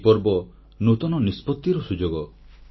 ଏହି ପର୍ବ ନୂତନ ନିଷ୍ପତିର ସୁଯୋଗ